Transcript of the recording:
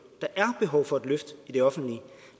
der er behov for et løft af det offentlige